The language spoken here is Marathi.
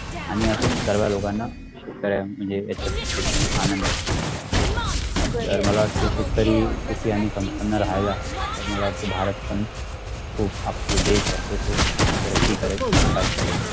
आणि अस त्याना लोकांना त्याला म्णजे ह्याचत शेतीतून आनंद असत बरोबर तर मला वाटते की शेतकरी कुपीयांनी पण पंडर राहिला तर मला वाटते भारत पण खुप आपल देश आहे तो देश खुप तररकी करेल विकास कारेल पर